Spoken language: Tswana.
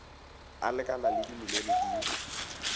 a lekanang le dimilione di